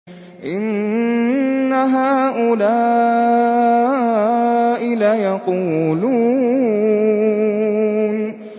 إِنَّ هَٰؤُلَاءِ لَيَقُولُونَ